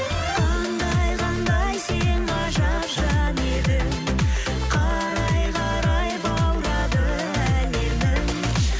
қандай қандай сен ғажап жан едің қарай қарай баурады әлемің